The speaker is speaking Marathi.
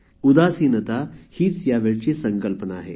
उदासीनता हीच यावेळची संकल्पना आहे